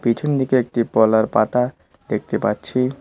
পিছনদিকে একটি ফল আর পাতা দেখতে পাচ্ছি।